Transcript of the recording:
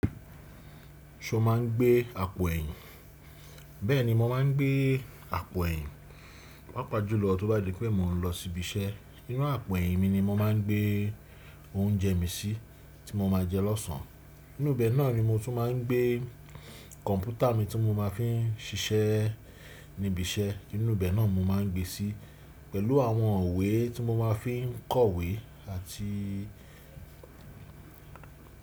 Ṣo má a ń gbé àpò ẹ̀yìn? Bẹ́ẹ̀ni mo má a ń gbé àpò ẹ̀yìn. Pàápàá jùlọ tó bá di pé mò n lọ síbi iṣẹ́. Inú àpò ẹ̀yìn mi ni mo má a n gbé oúnjẹ mi sí tí mo ma jẹ lọ́sàn. Inú ibẹ̀ náà ni mo tún má a ń gbé kọ̀npútà mi tí mo má a fi ń ṣiṣẹ́ níbi iṣẹ́. Inú ibẹ̀ náà ni mo má a ń gbé sí pẹ̀lú àwọn ìwé tí mo má a fi ń kọ̀wé àti.